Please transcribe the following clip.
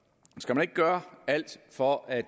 skal man ikke gøre alt for at